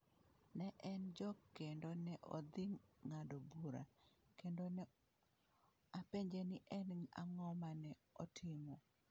Ne en jok kendo ne odhi ng’ado bura, kendo ne apenje ni en ang’o ma ne otimo?